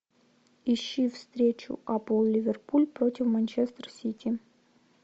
ищи встречу апл ливерпуль против манчестер сити